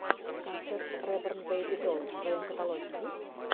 концерт реборн бэйби долс в твоем каталоге есть